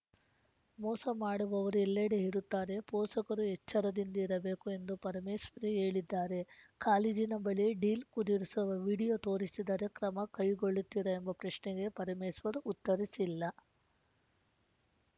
ಮೋಸ ಮಾಡುವವರು ಎಲ್ಲೆಡೆ ಇರುತ್ತಾರೆ ಪೋಸಕರು ಎಚ್ಚರದಿಂದಿರಬೇಕು ಎಂದು ಪರಮೇಶ್ರೇ ಹೇಳಿದ್ದಾರೆ ಕಾಲೇಜಿನ ಬಳಿ ಡೀಲ್‌ ಕುದುರಿಸುವ ವಿಡಿಯೋ ತೋರಿಸಿದರೆ ಕ್ರ ಮ ಕೈಗೊಳ್ಳುತ್ತಿದೆ ಎಂಬ ಪ್ರಶ್ನೆಗೆ ಪರಮೇಸ್ವರ್‌ ಉತ್ತರಿಸಿಲ್ಲ